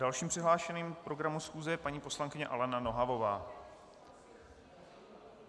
Dalším přihlášeným k programu schůze je paní poslankyně Alena Nohavová.